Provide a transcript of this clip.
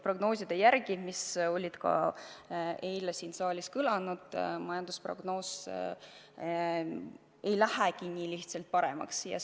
Ka eile kõlasid siin saalis prognoosid, et majanduse seis nii lihtsalt paremaks ei lähe.